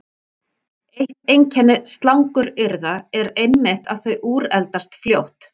Eitt einkenni slanguryrða er einmitt að þau úreldast fljótt.